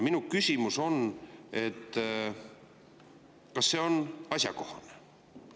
Minu küsimus on: kas see on asjakohane?